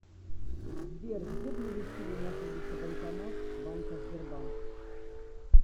сбер где ближе всего находится банкомат банка сбербанк